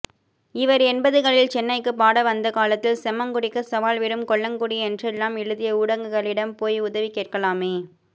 இவர் எண்பதுகளில் சென்னைக்கு பாட வந்தகாலத்தில் செம்மங்குடிக்கு சவால் விடும் கொல்லங்குடி என்றெல்லாம் எழுதிய ஊடகங்களிடம் போய் உதவி கேட்கலாமே